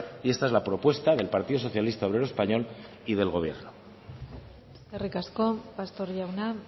y esta es la propuesta del partido socialista obrero español y del gobierno eskerrik asko pastor jauna